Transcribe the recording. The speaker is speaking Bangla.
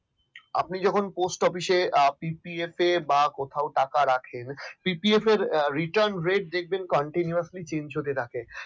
আপনি যখন post office এ PPF এ কোথাও টাকা রাখেন PPF এর retun ret continuously change হতে থাকে